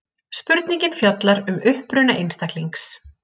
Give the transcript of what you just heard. Spurningin fjallar um uppruna einstaklings.